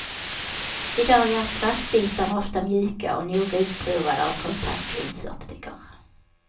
I dag är plastbitarna oftast mjuka och noga utprovade av kontaktlinsoptiker.